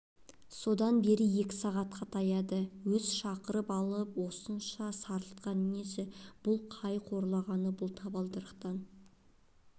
содан бері екі сағатқа таяды өз шақырып алып осынша сарылтқаны несі бұл қай қорлағаны бұл табалдырықтан